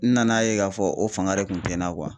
N nana ye k'a fɔ o fanga de kun tɛ n na